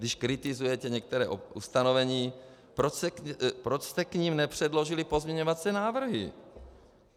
Když kritizujete některá ustanovení, proč jste k nim nepředložili pozměňovací návrhy?